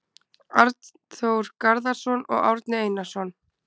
Arnþór Garðarsson og Árni Einarsson.